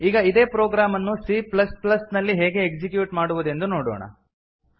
ಈಗ ಇದೇ ಪ್ರೊಗ್ರಾಮ್ ಅನ್ನು C ಪ್ಲಸ್ ಪ್ಲ್ಲಸ್ ನಲ್ಲಿ ಹೇಗೆ ಎಕ್ಸಿಕ್ಯೂಟ್ ಮಾಡುವುದೆಂದು ನೋಡೋಣ